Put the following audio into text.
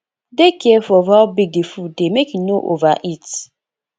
dey careful of how big di food dey make you no overeat